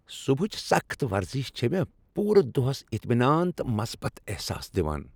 صبحٕچ سخٕت ورزش چھ مےٚ پوٗرٕ دۄہس اطمینان تہٕ مثبت احساس دِوان۔